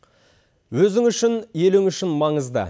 өзің үшін елің үшін маңызды